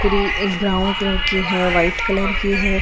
Green एक brown colour की है वाइट कलर की है।